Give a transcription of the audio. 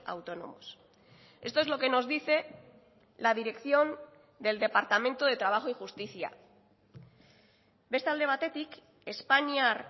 autónomos esto es lo que nos dice la dirección del departamento de trabajo y justicia beste alde batetik espainiar